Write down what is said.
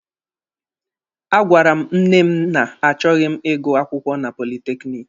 A gwara m nne m na achọghị m ịgụ akwụkwọ na politekiniki.